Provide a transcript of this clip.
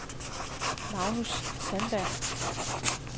Magnus Sandberg